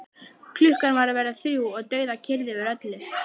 Klukkan var að verða þrjú og dauðakyrrð yfir öllu.